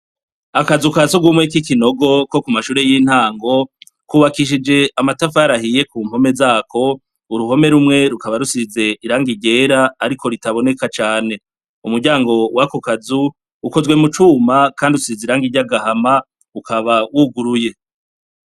Akazu ka sugumwe k'ikinogo ko ku mashure y'intango kubakishije amatafari ahiye ku mpome zako ; uruhome rumwe rukaba rusize irangi ryera ariko ritaboneka cane. Umuryango wako kazu ukozwe mu cuma kandi usize irangi ryagahama ukaba wuguruye.